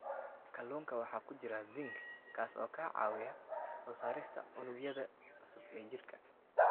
Kalluunka waxaa ku jira zinc, kaas oo ka caawiya soo saarista unugyada cusub ee jirka.